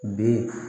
Bi